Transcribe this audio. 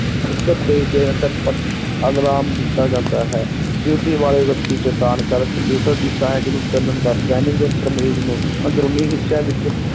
ਝਟਪਟ alarm ਦਿੱਤਾ ਜਾਂਦਾ ਹੈ duty ਵਾਲੇ ਵਿਅਕਤੀ ਚੇਤੰਨ ਕਰ ਕੰਪਿਊਟਰ ਦੀ ਸਹਾਇਕ ਨੂੰ ਚੱਲਣ ਦਾ scanning ਯੰਤਰ ਮਰੀਜ਼ ਨੂੰ ਅੰਦਰੂਨੀ ਹਿੱਸਿਆਂ ਵਿੱਚ